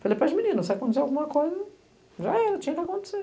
Falei para as meninas, se acontecer alguma coisa, já era, tinha que acontecer.